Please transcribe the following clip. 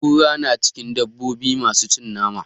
Kura na cikin dabobi masu cin nama.